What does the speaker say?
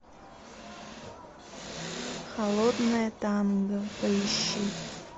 холодное танго поищи